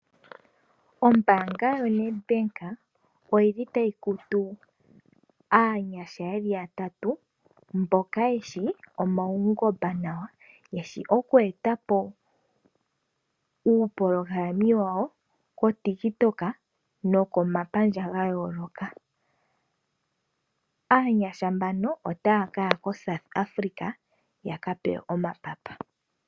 Ombaanga yo NedBank oyili tayi kutu aanyasha yeli ya tatu mboka yeshi omaungomba nawa. Yeshi oku eta po uupolohalami wawo kotiktok no komapamdja ga yooloka. Aanyasha mbamo otaya kaya koSouth Africa, ya ka pewe omapapa.